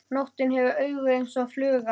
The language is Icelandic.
Nóttin hefur augu eins og fluga.